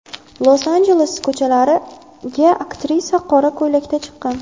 Los-Anjeles ko‘chalariga aktrisa qora ko‘ylakda chiqqan.